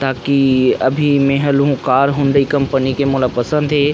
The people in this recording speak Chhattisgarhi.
ताकि अभी में हल होकर कार के हुंडई कंपनी पसंद हे।